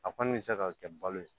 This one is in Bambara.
A kɔni bɛ se ka kɛ balo ye